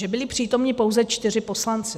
Že byli přítomni pouze čtyři poslanci.